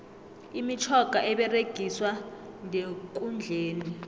imitjhoga eberegiswa ndekundleni